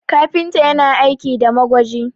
kafinta yana aiki da magwaji